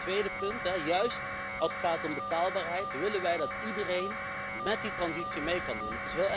Wat het tweede punt betreft juist als het gaat om betaalbaarheid willen wij dat iedereen met die transitie mee kan doen.